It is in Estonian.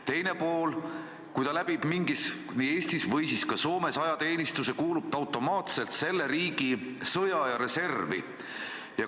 Teine pool, kui ta läbib Eestis või siis ka Soomes ajateenistuse, kuulub ta automaatselt selle riigi sõjaaja reservi.